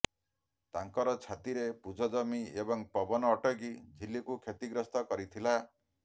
ତାଙ୍କର ଛାତିରେ ପୂଜ ଜମି ଏବଂ ପବନ ଅଟକି ଝିଲ୍ଲୀକୁ କ୍ଷତିଗ୍ରସ୍ତ କରିଥିଲା